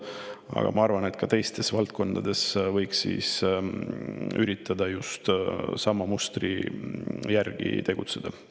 Aga ma arvan, et ka teistes valdkondades võiks üritada just sama mustri järgi tegutseda.